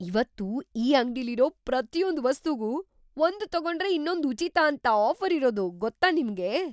ಇವತ್ತು ಈ ಅಂಗ್ಡಿಲಿರೋ ಪ್ರತಿಯೊಂದ್ ವಸ್ತುಗೂ ಒಂದ್‌ ತಗೊಂಡ್ರೆ ಇನ್ನೊಂದ್‌ ಉಚಿತ ಅಂತ ಆಫ಼ರ್ ಇರೋದು ಗೊತ್ತಾ ನಿಮ್ಗೆ?